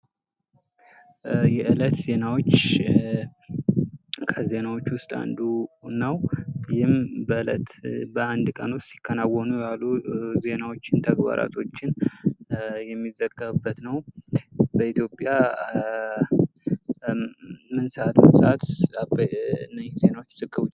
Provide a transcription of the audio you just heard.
የእለት ዜናዎች ከዜናዎች ውስጥ አንዱ ነው። ይህም በእለት በአንድ ቀን ውስጥ ሲከናወኑ የዋሉ ዜናዎችን፣ ተግባራቶችን የሚዘገበበት ነው። በኢትዮጵያ ምን ሰአት ምን ሰአት እነዚህ ዜናዎች ይዘገባሉ?